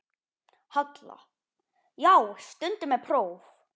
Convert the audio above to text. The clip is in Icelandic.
Halla: Já, stundum er próf.